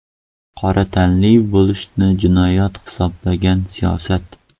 Qora tanli bo‘lishni jinoyat hisoblagan siyosat.